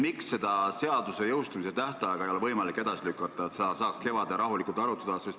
Miks ei ole seaduse jõustumise tähtaega võimalik edasi lükata, nii et seda saaks kevadel rahulikult arutada?